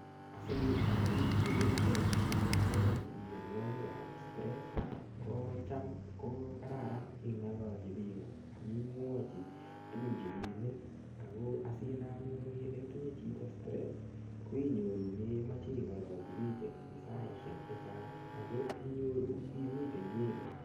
Asiikirindekei anyun akobo miyonwokikab stress ko cham ko kararan ing'ololji biko akimwochi tukun cheiimin ako asinai anyun ile itinye chito stress ko inyoru meimoche ing'ololji biich eng' saishek chechang' ako inyoru imite inyegei